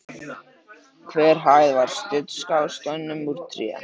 Hver hæð var studd skástoðum úr tré.